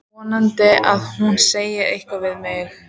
Vonaði að hún segði eitthvað við mig.